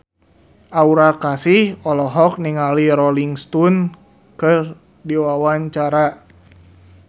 Aura Kasih olohok ningali Rolling Stone keur diwawancara